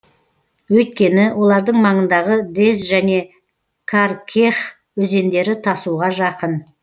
өйткені олардың маңындағы дез және каркех өзендері тасуға жақын